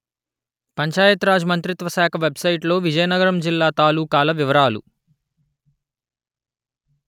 పంచాయత్ రాజ్ మంత్రిత్వ శాఖ వెబ్‌సైటులో విజయనగరం జిల్లా తాలూకాల వివరాలు